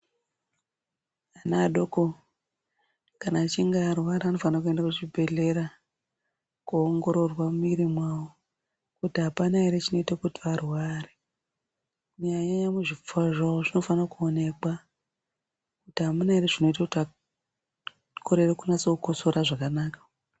Ana adoko kana achinge arwara anofane kuenda kuchibhehlera kuongororwa mumwiri mwawo kuti hapana ere chinoite kuti arware Kunyanyanyanya muzvipfuwa zvavo zvinofane kuonekwa kuti hamuna ere zvinoita kuti akorere kukotsora zvakanaka.